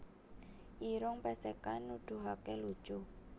Irung Pèsèkan Nuduhaké lucu